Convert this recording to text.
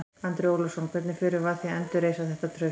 Andri Ólafsson: Hvernig förum við að því að endurreisa þetta traust?